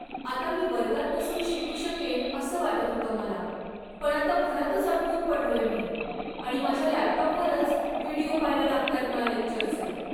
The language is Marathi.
आता मी वर्गात बसून शिकू शकेन असं वाटत होतं मला, पण आता घरातच अडकून पडलोय मी आणि माझ्या लॅपटॉपवरच व्हिडिओ पहायला लागताहेत मला लेक्चरचे.